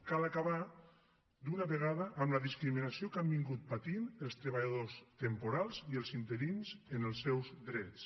cal acabar d’una vegada amb la discriminació que han patit els treballadors temporals i els interins en els seus drets